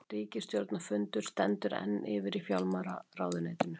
Ríkisstjórnarfundur stendur enn yfir í fjármálaráðuneytinu